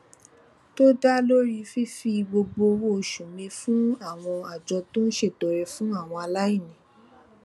tó dá lórí fífi gbogbo owó oṣù mi fún àwọn àjọ tó ń ṣètọrẹ fún àwọn aláìní